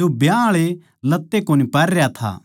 जो ब्याह आळे लत्ते कोनी पहररया था